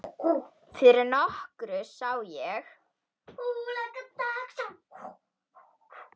Fyrir nokkru sá ég